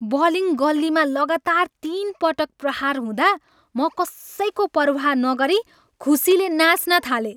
Bowling गल्लीमा लगातार तिन पटक प्रहार हुँदा म कसैको पर्वाह नगरी खुसीले नाँच्न थालेँ।